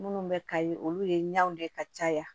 Minnu bɛ kayi olu ye ɲɔn de ka caya